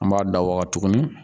N b'a da waga tuguni